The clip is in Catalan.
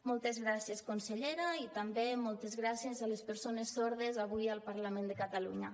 moltes gràcies consellera i també moltes gràcies a les persones sordes avui al parlament de catalunya